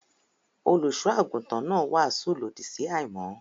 Olùṣọ́-àgùntàn náà wàásù lòdì sí àìmọ́.